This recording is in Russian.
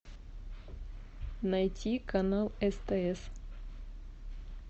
найти канал стс